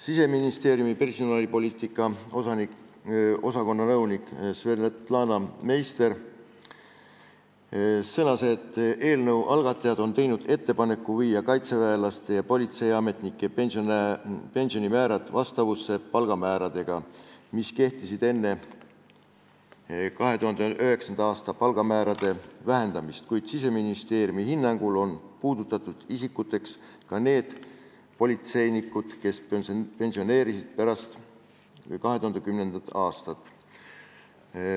Siseministeeriumi personalipoliitika osakonna nõunik Svetlana Meister sõnas, et eelnõu algatajad on teinud ettepaneku viia kaitseväelaste ja politseiametnike pensionimäärad vastavusse palgamääradega, mis kehtisid enne 2009. aasta palgamäärade vähendamist, kuid Siseministeeriumi hinnangul on puudutatud isikuteks ka need politseinikud, kes pensioneerusid pärast 2010. aastat.